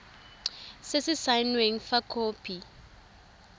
se se saenweng fa khopi